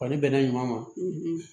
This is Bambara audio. Wa ni bɛnna ɲuman ma